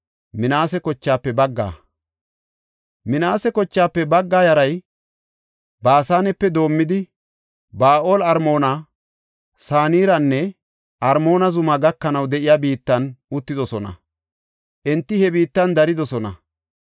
Minaase kochaafe bagga yaray Baasanepe doomidi, Ba7aal-Armoona, Saniranne Armoona zumaa gakanaw de7iya biittan uttidosona; enti he biittan daridosona.